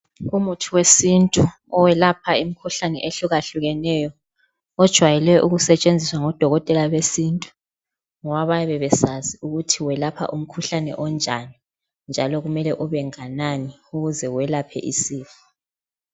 Umuthi wesintu owelapha imkhuhlane ehlukahlukeneyo ejayelwe ukusetshenziswa ngodokotela besintu ngoba bayabe besazi ukuthi welapha umkhuhlane onjani njalo kumele ube nganani ukuze welaphe isifo.